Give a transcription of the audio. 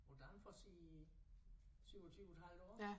På Danfoss i 27 et halvt år